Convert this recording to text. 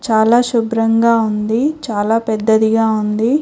చాలా శుభ్రంగా ఉంది చాలా పెద్దదిగా ఉంది.